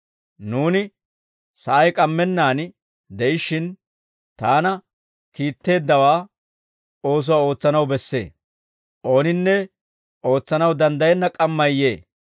Nuuni sa'ay k'ammennaan de'ishshin, Taana kiitteeddawaa oosuwaa ootsanaw bessee. Ooninne ootsanaw danddayenna k'ammay yee.